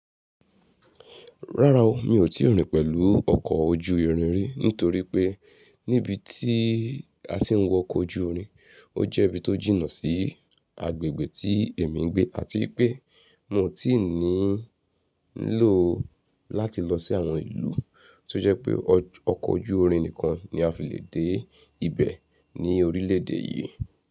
Rárá o, mi ò tíì rìn pẹ̀lú ọkọ̀ ojú irin ri, nítorí pé níbi tí a ti ń wọkọ̀ ojú irin, ó jẹ́ ibi tó jìnnà sí agbègbè tí èmi ń gbé àti wipé mi ò tíì ní ń lò ó láti lọ sí àwọn ìlú tí ó jẹ́ pé ọkọ̀ ojú irin nìkan ni a fi lè dé ibẹ̀ ní orílẹ̀ èdè yìí.